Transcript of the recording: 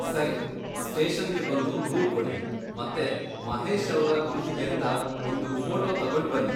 ಸರಿ, ಸ್ಟೇಷನ್ಗೆ ಬಂದು ದೂರ್ ಕೊಡಿ ಮತ್ತೆ ಮಹೇಶ್ ಅವ್ರ ಗುರುತಿಗೇಂತ ಒಂದು ಫೋಟೋ ತಗೊಂಡ್ ಬನ್ನಿ.